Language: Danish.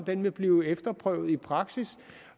den vil blive efterprøvet i praksis